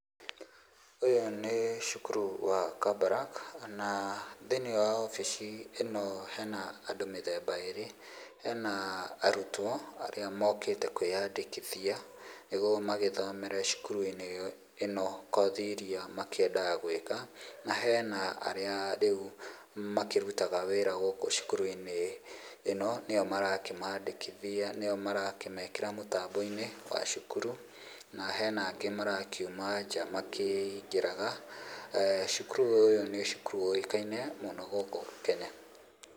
Ũyũ nĩ cukuru wa Kabarak, na thĩ-inĩ wa obici ĩno hena andũ mĩthemba ĩrĩ, hena arutwo arĩa mokĩte kwĩyandĩkithia, nĩguo magĩthomere cukuru-inĩ ĩno kothi iria makĩendaga gwĩka, na hena arĩa rĩu makĩrutaga wĩra gũkũ cukuru-inĩ ĩno, nĩo marakĩmaandĩkithia, nĩo marakĩmekĩra mũtambo-inĩ wa cukuru, na hena angĩ marakiuma nja makĩingĩraga. Cukuru ũyũ nĩ cukuru ũikaine mũno gũkũ Kenya.